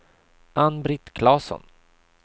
Ann-Britt Klasson